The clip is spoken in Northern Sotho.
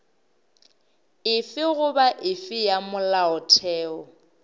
efe goba efe ya molaotheo